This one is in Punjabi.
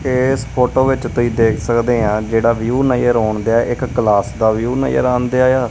ਇਸ ਫ਼ੋਟੋ ਵਿੱਚ ਤੁਸੀਂ ਦੇਖ ਸਕਦੇ ਆਂ ਜਿਹੜਾ ਵਿਊ ਨਜ਼ਰ ਆਉਣਦੇਆ ਇੱਕ ਕਲਾਸ ਦਾ ਵਿਊ ਨਜ਼ਰ ਆਂਦੇਆ ਯਾ।